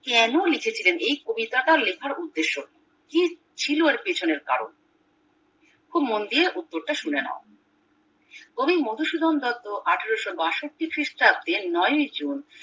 কেন লিখেছিলেন এই কবিতাটির লেখার উদেশ্য কি কি ছিল ওর পিছনের কারণ খুব মন দিয়ে উত্তরটা শুনে নাও কবি মধু সুধন দত্ত আঠারোশো বাষট্টি খ্রিস্টাব্দ নয়ই জুন